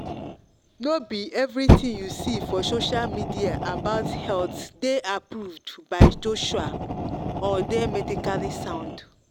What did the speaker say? no be everything you see for social media about health dey approved by joshua or dey medically sound.